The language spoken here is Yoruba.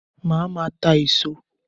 Màá máa ta èso